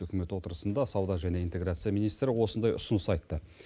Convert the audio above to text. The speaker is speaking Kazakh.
үкімет отырысында сауда және интеграция министрі осындай ұсыныс айтты